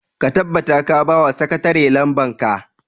ka tabbata ka ba wa sakatare lamban ka!